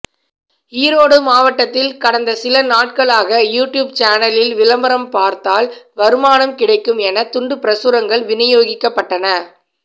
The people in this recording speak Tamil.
ஈரோடு மாவட்டத்தில் கடந்த சில நாட்களாக யூடியூப் சேனலில் விளம்பரம் பார்த்தால் வருமானம் கிடைக்கும் என துண்டுப் பிரசுரங்கள் விநியோகிக்கப்பட்டன